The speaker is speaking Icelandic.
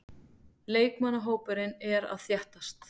Leikmannahópurinn er að þéttast.